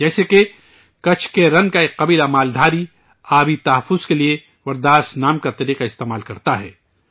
جیسے کہ، ''کچھ کے رن'' کا ایک قبیلہ 'مالدھاری' پانی کے تحفظ کے لیے ''ورداس' نام کا طریقہ استعمال کرتا ہے